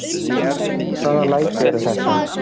Hvaða læti eru þetta?